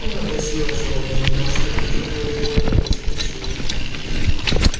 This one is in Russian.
она гласила животное не может убить другое животное без причины